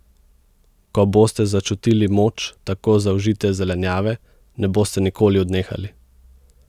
Ko boste začutili moč tako zaužite zelenjave, ne boste nikoli odnehali.